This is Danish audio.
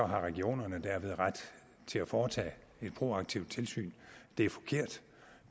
har regionerne dermed ret til at foretage et proaktivt tilsyn det er forkert